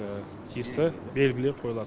тиісті белгілер қойылады